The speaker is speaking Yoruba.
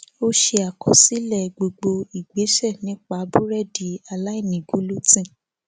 ó ṣe àkọsílẹ gbogbo ìgbésẹ nípa búrédì aláìní gulutín